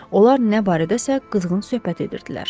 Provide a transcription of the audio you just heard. Onlar nə barədəsə qızğın söhbət edirdilər.